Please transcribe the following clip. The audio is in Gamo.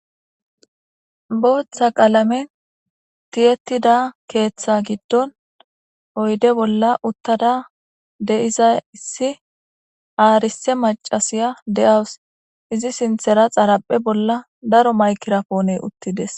Booththa qalamen tiyettida keeththa giddon oyde bolla uttada de7izay issi aarise macasiya de7awus izi sinthera xaraphe bolla daro maykirapoone uttides.